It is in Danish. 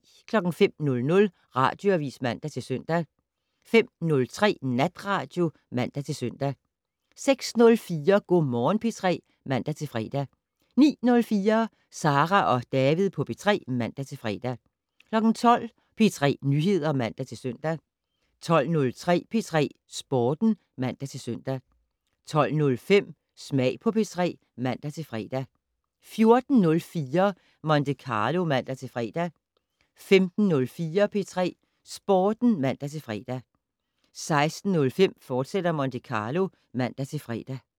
05:00: Radioavis (man-søn) 05:03: Natradio (man-søn) 06:04: Go' Morgen P3 (man-fre) 09:04: Sara og David på P3 (man-fre) 12:00: P3 Nyheder (man-søn) 12:03: P3 Sporten (man-søn) 12:05: Smag på P3 (man-fre) 14:04: Monte Carlo (man-fre) 15:04: P3 Sporten (man-fre) 15:06: Monte Carlo, fortsat (man-fre)